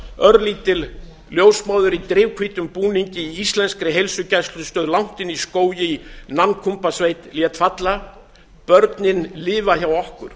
örlítil ljósmóðir í drifhvítum búningi í íslenskri heilsugæslustöð langt inni í skógi í nankumbasveit lét falla börnin lifa hjá okkur